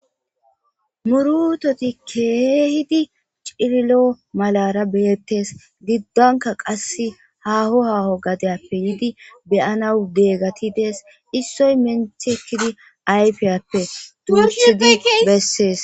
Murutati keehidi cililo malara beettes. Giddonka qassi aho aho gadiyappe yiidi be'anawu diyageti dees. Issoy menti ekkidi ayfiyappe duurchidi bessees.